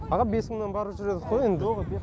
аға бес мыңнан барып жүр едікқо енді